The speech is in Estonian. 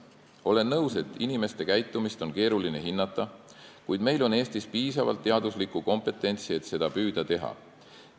Olen nõus, et inimeste käitumist on keeruline hinnata, kuid meil on Eestis piisavalt teaduslikku kompetentsi, et püüda seda teha.